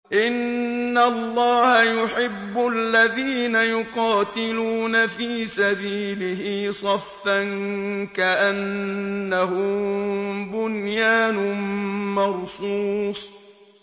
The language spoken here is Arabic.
إِنَّ اللَّهَ يُحِبُّ الَّذِينَ يُقَاتِلُونَ فِي سَبِيلِهِ صَفًّا كَأَنَّهُم بُنْيَانٌ مَّرْصُوصٌ